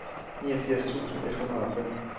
niogfirs tusind et hundrede og fem